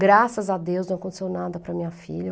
Graças a Deus, não aconteceu nada para a minha filha.